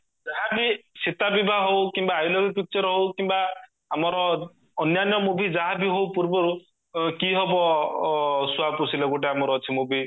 ଯାହା ବି ସୀତା ବିବାହ ହୋଉ କିମ୍ବା picture ହୋଊ କିମ୍ବା ଆମର ଅନ୍ୟାନ୍ୟ movie ଯାହା ବି ହୋଉ ପୂର୍ବରୁ କି ହବ ଶୁଆ ପୋଶିଲେ ଗୋଟେ ଆମର ଅଛି movie